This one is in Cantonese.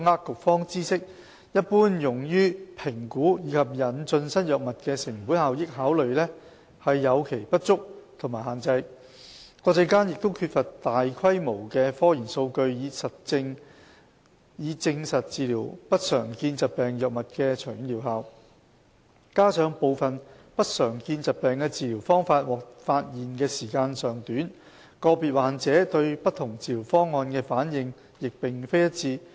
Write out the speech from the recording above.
局方知悉一般用於評估及引進新藥物的成本效益考慮有其不足及限制，國際間亦缺乏大規模的科研數據以證實治療不常見疾病藥物的長遠療效；加上部分不常見疾病的治療方法獲發現的時間尚短，個別患者對不同治療方案的反應亦並非一致。